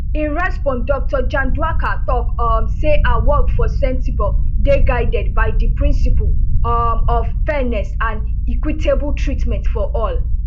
in response dr chandauka tok um say her work for sentebale dey guided by di principles um of fairness and equitable treatment for all